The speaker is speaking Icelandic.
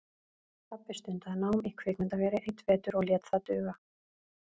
Pabbi stundaði nám í kvikmyndaveri einn vetur og lét það duga.